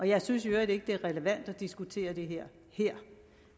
jeg synes i øvrigt ikke det er relevant at diskutere det her her